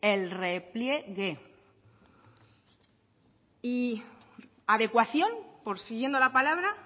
el repliegue y adecuación por siguiendo la palabra